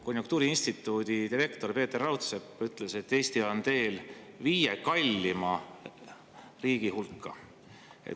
Konjunktuuriinstituudi direktor Peeter Raudsepp ütles, et Eesti on teel viie kallima riigi hulka.